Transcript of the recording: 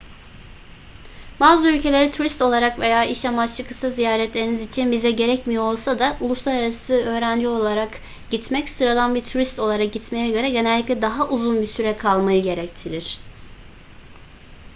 bazı ülkelere turist olarak veya iş amaçlı kısa ziyaretleriniz için vize gerekmiyor olsa da uluslararası öğrenci olarak gitmek sıradan bir turist olarak gitmeye göre genellikle daha uzun bir süre kalmayı gerektirir